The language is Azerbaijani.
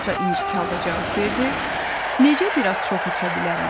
Alisa incik halda cavab verdi, necə biraz çox içə bilərəm?